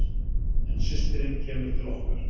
En systirin kemur til okkar.